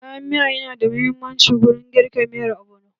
Kayan miya na da muhimmanci wurin girka miyar ogbono.